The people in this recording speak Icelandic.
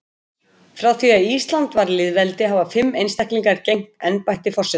Frá því að Ísland varð lýðveldi hafa fimm einstaklingar gegnt embætti forseta.